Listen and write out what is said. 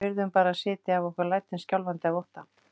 Við urðum bara að sitja af okkur lætin skjálfandi af ótta.